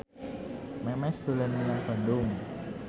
Memes dolan menyang Bandung